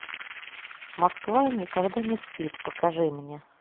москва никогда не спит покажи мне